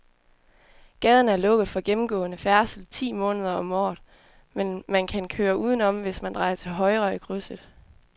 Gaden er lukket for gennemgående færdsel ti måneder om året, men man kan køre udenom, hvis man drejer til højre i krydset.